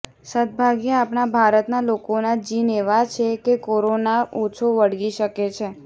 સદ્ભાગ્યે આપણા ભારતના લોકોના જીન એવા છે કે કોરોના ઓછો વળગી શકે છે